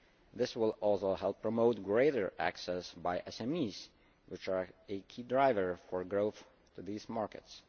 This will also help promote greater access by SMEs, which are a key driver for growth, to these markets.